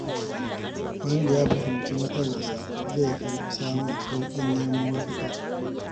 Wanda ya fahimci matsalarsa zai fi samun sauƙin nemo mafita.